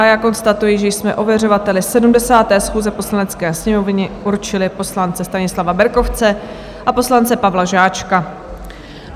A já konstatuji, že jsme ověřovateli 70. schůze Poslanecké sněmovny určili poslance Stanislava Berkovce a poslance Pavla Žáčka.